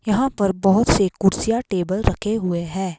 यहां पर बहुत से कुर्सिया टेबल रखे हुए हैं।